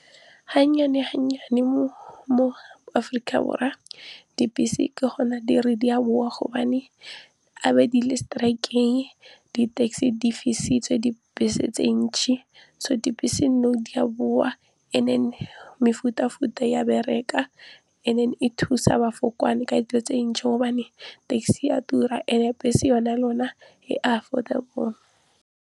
Ha nnyane ha nnyane mo Aforika Borwa dibese ke gona di re di a bowa gobane a be di le strike-eng, di-taxi di fisitswe, dibese tse ntšhi so dibese nou di a bowa and then mefuta futa ya bereka and then e thusa ka dilo tse ntšhi gobane taxi ya tura and-e bese yone e affordable.